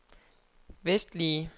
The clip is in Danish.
vestlige